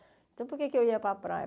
Então, por que eu ia para a praia?